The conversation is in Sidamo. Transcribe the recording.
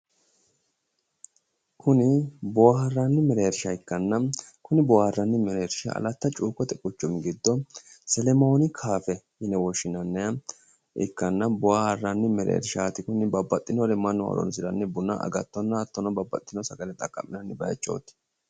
Kuni boohaarranni mereershsha ikkanna, kuni boohaarranni mereershshi Alata cuukote quchumi giddo selemon kaaffe yine woshshinanniha ikkanna. Boohaarranni mereershaati kuni babbaxxinore mannu horoonsiranni buna agattonna hattono babbaxitino sagale horoonsiranno baayiichooti.